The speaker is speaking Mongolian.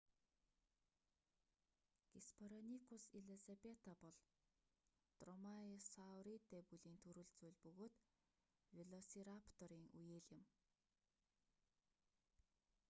геспероникус элизабета бол дромаеосауридэ бүлийн төрөл зүйл бөгөөд велосирапторын үеэл юм